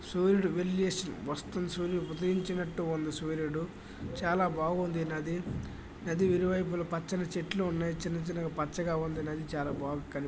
సూర్యుడు వెళ్లి వస్తూ సూర్యు ఉదయించినట్టుంది సూర్యుడు చాలా బాగుంది నది. నది ఇరువైపుల పచ్చని చెట్లు ఉన్నాయి. చిన్న చిన్నగా పచ్చగా ఉండినది చాలా బాగ కని --